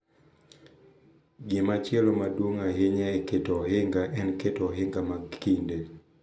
Gimachielo maduong’ ahinya e keto ohinga en keto ohinga mag kinde.